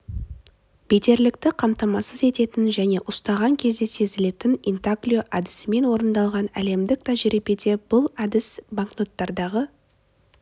бедерлікті қамтамасыз ететін және ұстаған кезде сезілетін интаглио әдісімен орындалған әлемдік тәжірибеде бұл әдіс банкноттардағы